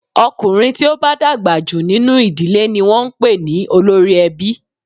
Ọkùnrin tí ó bá dàgbà jù nínú ìdílé ni wọn ń pè ní olórí ẹbí.